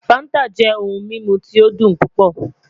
Fanta jẹ ohun mimu ti o dun pupọ